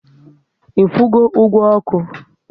I kwụgo ụgwọ oku?